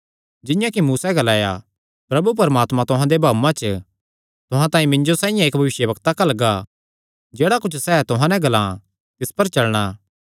जिंआं कि मूसैं ग्लाया प्रभु परमात्मा तुहां दे भाऊआं च तुहां तांई मिन्जो साइआं इक्क भविष्यवक्ता घल्लणा जेह्ड़ा कुच्छ सैह़ तुहां नैं ग्लां तिसी पर चलणा